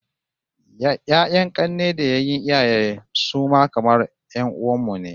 Ya'yan 'kanne da yayyen iyayen mu su ma kamar 'yan'uwan mu ne